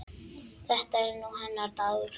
Þetta er nú hennar dagur.